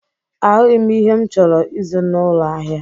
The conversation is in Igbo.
Ahụghị m ihe m chọrọ ịzụ n'ụlọ ahịa.